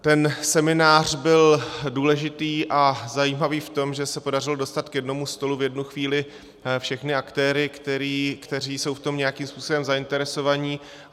Ten seminář byl důležitý a zajímavý v tom, že se podařilo dostat k jednomu stolu v jednu chvíli všechny aktéry, kteří jsou v tom nějakým způsobem zainteresovaní.